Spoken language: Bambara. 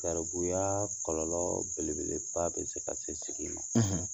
Garibuya kɔlɔlɔ belebeleba bi se ka se segin ma